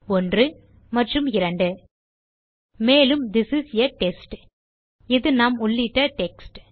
1 மற்றும் 2 மேலும் this is a test இது நாம் உள்ளிட்ட டெக்ஸ்ட்